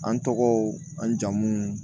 An tɔgɔw an jamu